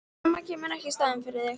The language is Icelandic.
Mamma kemur ekki í staðinn fyrir þig.